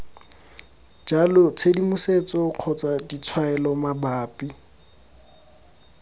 jalo tshedimosetso kgotsa ditshwaelo mabapi